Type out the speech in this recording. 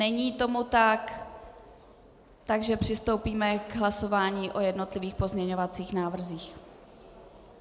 Není tomu tak, takže přistoupíme k hlasování o jednotlivých pozměňovacích návrzích.